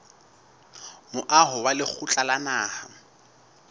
moaho wa lekgotla la naha